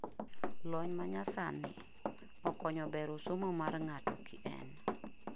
lony manyasani; okonyo bero somo mar ng'ato kien